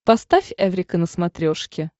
поставь эврика на смотрешке